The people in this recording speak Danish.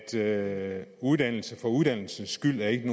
sige at uddannelse for uddannelsens skyld ikke